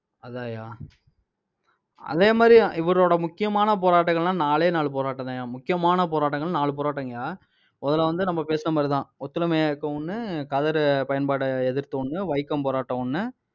அதான்யா. அதே மாதிரி, இவரோட முக்கியமான போராட்டங்கள்னா நாலே நாலு போராட்டம்தான்யா. முக்கியமான போராட்டங்கள் நாலு போராட்டங்கயா. முதல்ல வந்து, நம்ம பேசின மாதிரிதான். ஒத்துழையாமை இயக்கம் ஒண்ணு, கதரு பயன்பாட்டை எதிர்த்த ஒண்ணு, வைக்கம் போராட்டம் ஒண்ணு